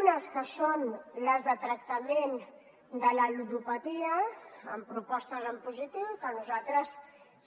unes que són les del tractament de la ludopatia amb propostes en positiu que nosaltres